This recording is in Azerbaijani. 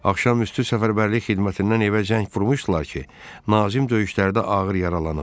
Axşam üstü səfərbərlik xidmətindən evə zəng vurmuşdular ki, Nazim döyüşlərdə ağır yaralanıb.